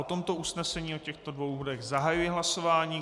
O tomto usnesení o těchto dvou bodech zahajuji hlasování.